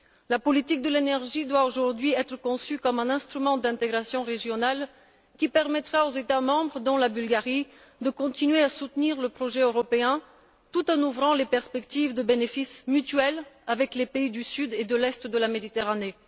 La politique de l'énergie doit être conçue aujourd'hui comme un instrument d'intégration régionale qui permettra aux États membres dont la Bulgarie de continuer à soutenir le projet européen tout en ouvrant les perspectives de bénéfices mutuels avec les pays du Sud et de l'Est de la Méditerranée.